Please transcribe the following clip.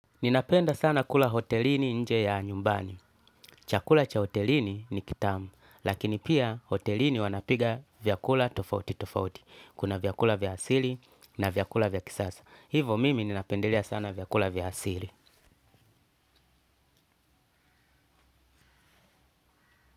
Ninapenda sana kula hotelini nje ya nyumbani. Chakula cha hotelini ni kitamu, lakini pia hotelini wanapika vyakula tofauti tofauti. Kuna vyakula vya asili na vyakula vya kisasa. Hivo mimi ninapendelea sana vyakula vya asili.